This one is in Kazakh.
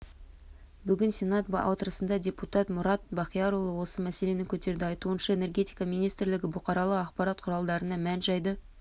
бүгін сенат отырысында депутат мұрат бақтиярұлы осы мәселені көтерді айтуынша энергетика министрлігі бұқаралық ақпарат құралдарынан мән-жайды